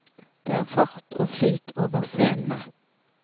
Det er fart og flyt over scenene.